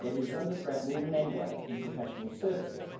Yet it is under threat more than anywhere in professional services.